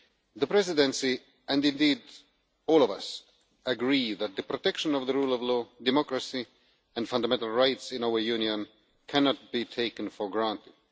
The Presidency and, indeed, all of us agree that the protection of the rule of law, democracy and fundamental rights in our Union cannot be taken for granted.